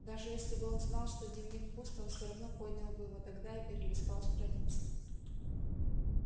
даже если бы он знал что дневник пуст он всё равно поднял бы его тогда и перелистал страницы